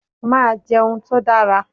Màá jẹun tó dára.